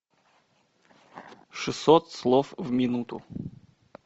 шестьсот слов в минуту